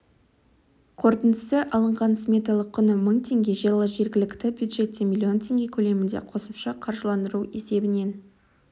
қорытындысы алынған сметалық құны мың теңге жылы жергілікті бюджеттен миллион теңге көлемінде қосымша қаржыландыру есебінен